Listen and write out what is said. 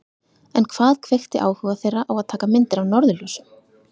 En hvað kveikti áhuga þeirra á að taka myndir af norðurljósum?